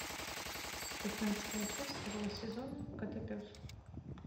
пятнадцатая часть второго сезона котопес